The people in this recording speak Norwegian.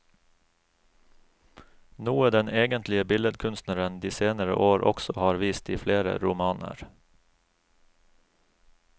Noe den egentlige billedkunstneren de senere år også har vist i flere romaner.